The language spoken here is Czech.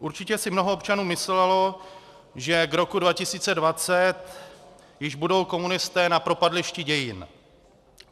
Určitě si mnoho občanů myslelo, že k roku 2020 již budou komunisté na propadlišti dějin.